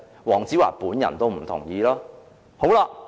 黃子華本人也不同意。